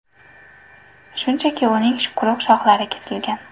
Shunchaki uning quruq shohlari kesilgan.